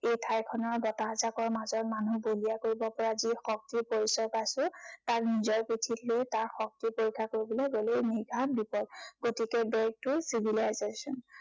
এই ঠাইখনৰ বতাহজাঁকৰ মাজত মানুহ বলিয়া কৰিব পৰা যি শক্তিৰ পৰিচয় পাইছো, তাক নিজৰ পিঠিত লৈ তাৰ শক্তি পৰীক্ষা কৰিবলৈ গলে নিৰ্ঘাত বিপদ। গতিকে back to civilization